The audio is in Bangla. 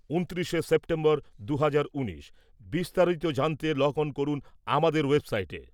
ঊনত্রিশে সেপ্টেম্বর দুহাজার উনিশ। বিস্তারিত জানতে লগ অন করুন আমাদের ওয়েবসাইটে।